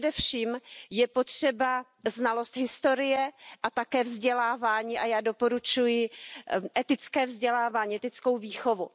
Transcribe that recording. Především je potřeba znalost historie a také vzdělávání a já doporučuji etické vzdělávání, etickou výchovu.